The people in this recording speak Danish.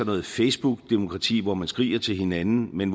noget facebookdemokrati hvor man skriger til hinanden men